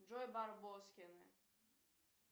джой барбоскины